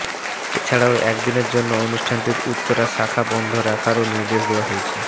এছাড়াও একদিনের জন্য প্রতিষ্ঠানটির উত্তরা শাখা বন্ধ রাখারও নির্দেশ দেওয়া হয়েছে